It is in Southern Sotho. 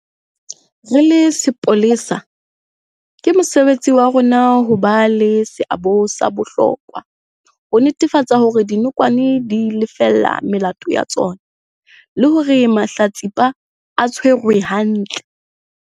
Re le sepolesa, ke mosebetsi wa rona ho ba le seabo sa bohlokwa ho netefatsa hore dinokwane di lefella melato ya tsona le hore mahlatsipa a tshwarwa hantle.